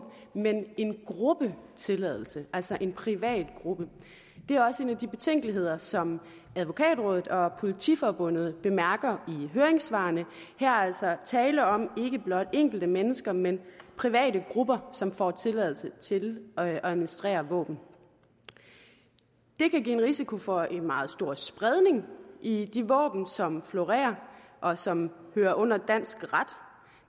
men give en gruppe tilladelse altså en privat gruppe det er også en af de betænkeligheder som advokatrådet og politiforbundet bemærker i høringssvarene her er altså tale om ikke blot enkelte mennesker men private grupper som får tilladelse til at administrere våben det kan give en risiko for en meget stor spredning i de våben som florerer og som hører under dansk ret